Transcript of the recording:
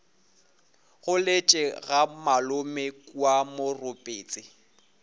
goletše ga malome kua moropetse